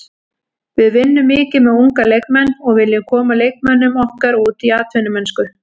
Við vinnum mikið með unga leikmenn og viljum koma leikmönnum okkar út í atvinnumennsku.